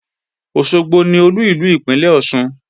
Òṣogbo ni Olú ìlú ìpínlè Ọ̀ṣun